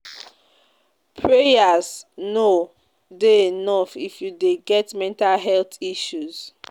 Prayers no dey enough if you dey get mental health issue.